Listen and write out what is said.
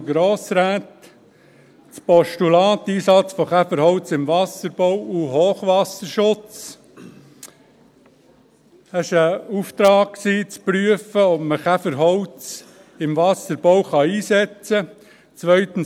Das Postulat «Einsatz von Käferholz im Wasserbau und Hochwasserschutz» war ein Auftrag zu prüfen, ob man Käferholz im Wasserbau einsetzen kann;